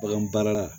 Bagan baara la